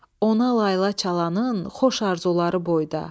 Ona layla çalanın xoş arzuları boyda.